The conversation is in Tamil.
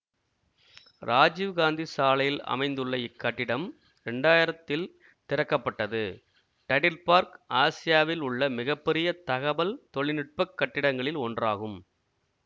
ராஜீவ் காந்தி சாலையில் அமைந்துள்ள இக்கட்டிடம் இரண்டாயிரத்தில் திறக்க பட்டது டைடல் பார்க் ஆசியாவில் உள்ள மிக பெரிய தகவல் தொழில்நுட்ப கட்டிடங்களில் ஒன்றாகும்